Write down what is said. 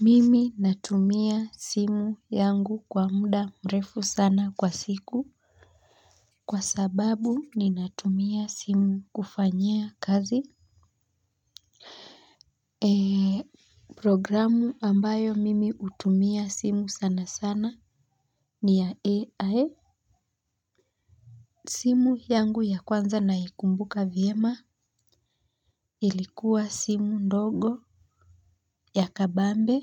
Mimi natumia simu yangu kwa muda mrefu sana kwa siku kwa sababu ninatumia simu kufanyia kazi. Programu ambayo mimi hutumia simu sanasana ni ya AI. Simu yangu ya kwanza naikumbuka vyema ilikuwa simu ndogo ya kabambe.